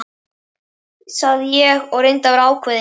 sagði ég og reyndi að vera ákveðinn.